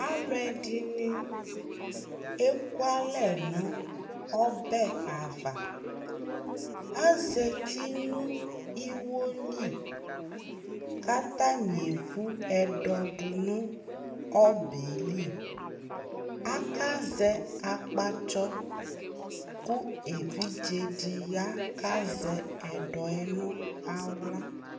alò ɛdini eku alɛ no ɔbɛ ava azati no iwo li k'atani evu ɛdɔ do no ɔbɛ yɛ li aka zɛ akpatsɔ kò evidze di ya k'azɛ ɛdɔ yɛ no ala